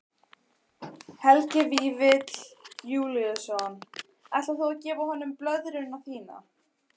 Helgi Vífill Júlíusson: Ætlar þú að gefa honum blöðruna þína?